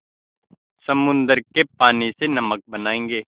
समुद्र के पानी से नमक बनायेंगे